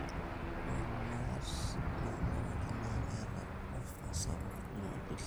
ore ilat naelareki naa keeta ofa sapuk jumapili